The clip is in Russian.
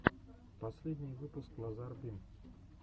последний выпуск лазар бим